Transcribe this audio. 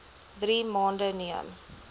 drie maande neem